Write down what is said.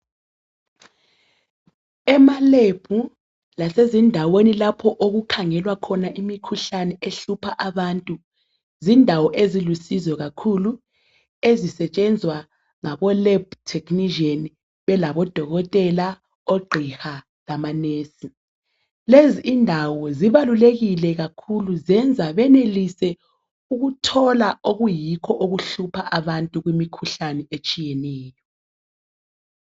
Emalab lasezindaweni lapho okukhangelwa khona imikhuhlane ehlupha abantu zindawo ezilusizo kakhulu ezisetshezwa ngabo lab technician belabodokotela oqhiha labo nurse lezi indawo zbalulekile kakhulu zenza benelise ukuthola okuyikho okuhlupha abantu kumikhuhlani etshiyeneyo